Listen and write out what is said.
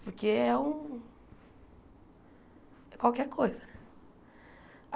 Porque é um... é qualquer coisa.